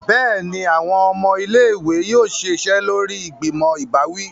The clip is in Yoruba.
Béèni, awọn ọmọ ilé-ìwé yóò ṣiṣẹ lórí ìgbìmò ìbáwí